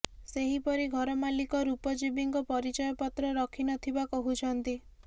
ସେହିପରି ଘର ମାଲିକ ରୂପଜୀବୀଙ୍କ ପରିଚୟପତ୍ର ରଖି ନଥିବା କହୁଛନ୍ତି